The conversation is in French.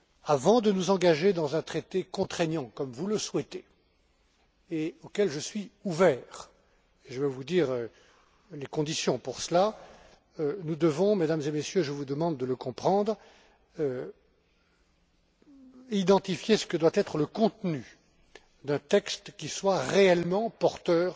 Avant de nous engager dans un traité contraignant, comme vous le souhaitez et auquel je suis ouvert et je vais vous dire les conditions pour cela nous devons, Mesdames et Messieurs, et je vous demande de le comprendre, identifier ce que doit être le contenu d'un texte qui soit réellement porteur